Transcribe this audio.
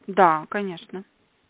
да конечно